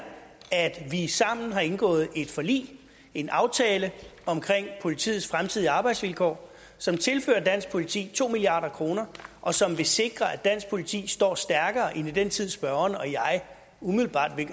at vi sammen har indgået et forlig en aftale om politiets fremtidige arbejdsvilkår som tilfører dansk politi to milliard kr og som vil sikre at dansk politi står stærkere end i den tid spørgeren og jeg umiddelbart